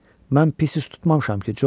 Mən pis tutmamışam ki, Corc.